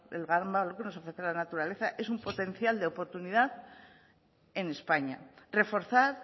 el gran valor que nos ofrece la naturaleza es un potencial de oportunidad en españa reforzar